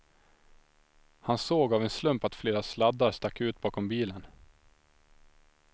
Han såg av en slump att flera sladdar stack ut bakom bilen.